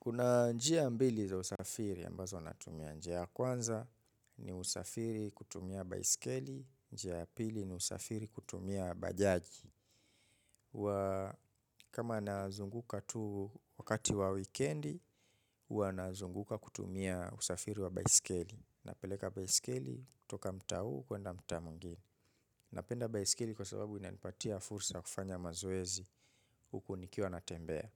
Kuna njia mbili za usafiri ambazo natumia njia ya kwanza ni usafiri kutumia baiskeli, njia ya pili ni usafiri kutumia bajaji. Kama nazunguka tu wakati wa wikendi, huwa nazunguka kutumia usafiri wa baiskeli. Napeleka baiskeli toka mtaa kwanda mtaa mwengine. Napenda baiskeli kwa sababu inaipatia fursa ya kufanya mazoezi huku nikiwa na tembea.